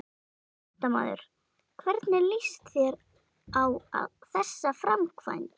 Fréttamaður: Hvernig líst þér á þessa framkvæmd?